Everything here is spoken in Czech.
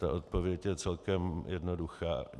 Ta odpověď je celkem jednoduchá.